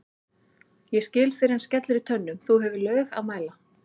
ég skil fyrr en skellur í tönnum þú hefur lög að mæla